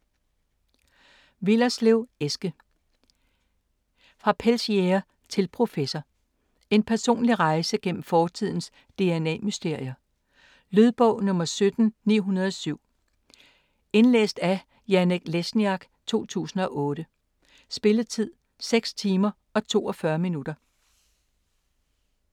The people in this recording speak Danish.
Willerslev, Eske: Fra pelsjæger til professor: en personlig rejse gennem fortidens dna-mysterier Lydbog 17907 Indlæst af Janek Lesniak, 2008. Spilletid: 6 timer, 42 minutter.